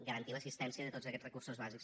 garantir l’assistència de tots aquests recursos bàsics